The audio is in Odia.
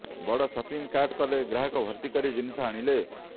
ବଡ଼ ସପିଂ କାର୍ଟ କଲେ ଗ୍ରାହକ ଭର୍ତ୍ତି କରି ଜିନିଷ ଆଣିଲେ